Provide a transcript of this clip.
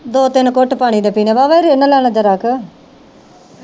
ਦੋ ਤਿੰਨ ਘੁੱਟ ਪਾਣੀ ਦੇ ਪੀਣੇ ਵਾਵਾ ਈ ਰਿਨ ਲੈਣਾ ਜਰਾ ਕਾ